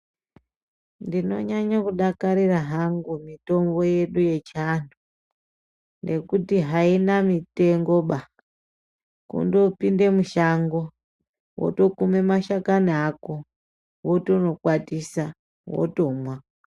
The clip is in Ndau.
Ndinonyanye kudakairra hangu mitombo yedu yechiantu ngekuti haina mitengoba. Kundopinde mushonga wotokume mashakani ako wotonokwatisa, wotomwa.